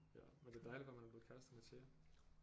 Ja men det er dejligt for ham han er blevet kærester med Thea